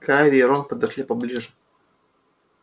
гарри и рон подошли поближе